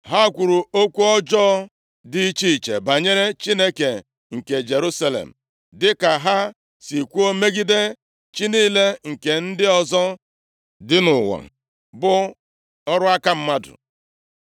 Ha kwuru okwu ọjọọ dị iche iche banyere Chineke nke Jerusalem, dịka ha si kwuo megide chi niile nke ndị ọzọ dị nʼụwa, bụ ọrụ aka mmadụ.